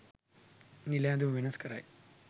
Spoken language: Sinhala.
නිල ඇඳුම වෙනස් කරයි